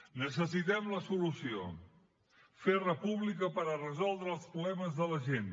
necessitem la solució fer república per resoldre els problemes de la gent